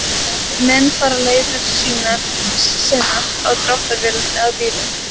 Menn fara leiðar sinnar á dráttarvélum eða bílum.